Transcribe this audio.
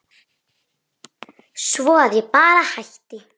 Svo að ég bara hætti.